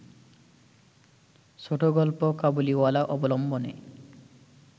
ছোটগল্প ‘কাবুলিওয়ালা’ অবলম্বনে